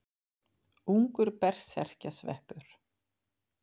Ungur berserkjasveppur.